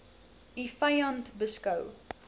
u vyand beskou